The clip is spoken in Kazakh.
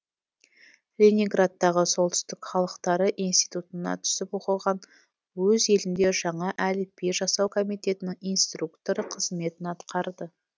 ленинградтағы солтүстік халықтары институтына түсіп оқыған өз елінде жаңа әліпби жасау комитетінің инструкторы қызметін атқарды